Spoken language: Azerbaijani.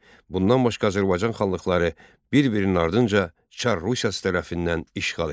Bundan başqa Azərbaycan xanlıqları bir-birinin ardınca Çar Rusiyası tərəfindən işğal edildi.